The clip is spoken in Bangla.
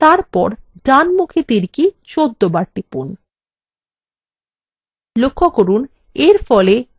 তারপর ডানমুখী তীর key ১৪ বার টিপুন